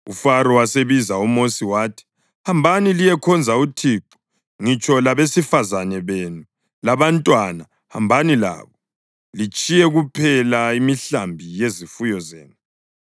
UFaro wasebiza uMosi wathi, “Hambani liyekhonza uThixo. Ngitsho labesifazane benu labantwana hambani labo; litshiye kuphela imihlambi yezifuyo zenu.”